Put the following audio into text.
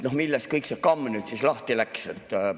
Millest kõik see kamm nüüd lahti läks?